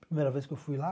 Primeira vez que eu fui lá.